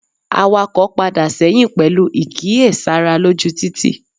Awako padà sẹ́yìn pẹlu ìkí e sára lójú títì